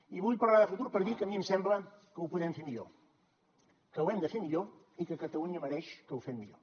i vull parlar de futur per dir que a mi em sembla que ho podem fer millor que ho hem de fer millor i que catalunya mereix que ho fem millor